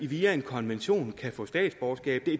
via en konvention kan få statsborgerskab